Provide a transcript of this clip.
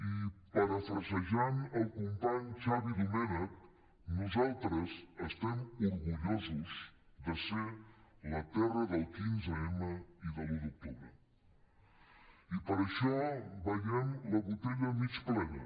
i parafrasejant el company xavi domènech nosaltres estem orgullosos de ser la terra del quinze m i de l’un d’octubre i per això veiem la botella mig plena